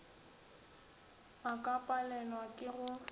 a ka palelwa ke go